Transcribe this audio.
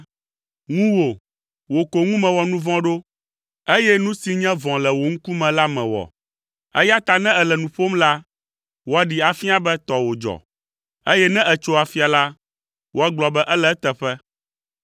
Ŋuwò, wò ko ŋu mewɔ nu vɔ̃ ɖo, eye nu si nye vɔ̃ le wò ŋkume la mewɔ, eya ta ne èle nu ƒom la, woaɖee afia be tɔwò dzɔ, eye ne ètso afia la, woagblɔ be ele eteƒe.